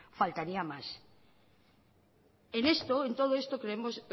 en todo esto creemos